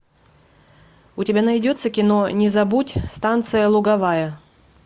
у тебя найдется кино не забудь станция луговая